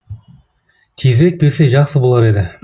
тезірек берсе жақсы болар еді